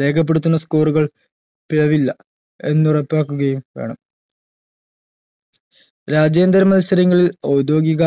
രേഖപ്പെടുത്തുന്ന score ഉകൾ പിഴവില്ല എന്നുറപ്പാകുകയും വേണം രാജ്യാന്തര മത്സരങ്ങളിൽ ഔദ്യോഗിക